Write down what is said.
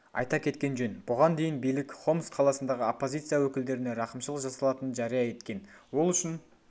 айта кеткен жөн бұған дейін билік хомс қаласындағы оппозиция өкілдеріне рақымшылық жасалатынын жария еткен ол үшін